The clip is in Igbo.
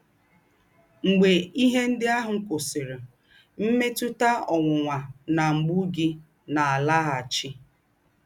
Mgbē íhè ndí́ àhụ́ kwụ̀sị̀rì, mmètụ̀tà ọ̀nwụ́nwà nà mgbụ̀ gị̀ nà-àlágháchị́.